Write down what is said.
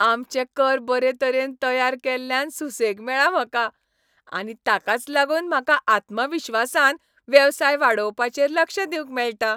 आमचे कर बरेतरेन तयार केल्ल्यान सुसेग मेळ्ळा म्हाका, आनी ताकाच लागून म्हाका आत्मविश्वासान वेवसाय वाडोवपाचेर लक्ष दिवंक मेळटा.